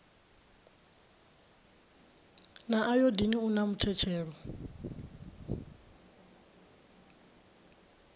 na ayodini u na muthetshelo